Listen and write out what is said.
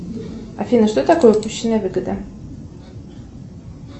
афина что такое упущенная выгода